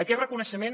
aquest reconeixement